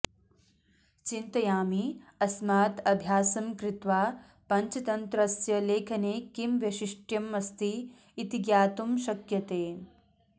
चिन्तयामि अस्मात् अभ्यासं कृत्वा पञ्चतन्त्रस्य लेखने किं वैशिष्ट्यमस्ति इति ज्ञातुं शक्यते